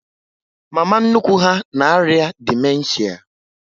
Mama nnukwu ha na arịa dimenshia